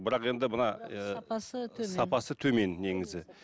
бірақ енді мына ы сапасы төмен сапасы төмен негізі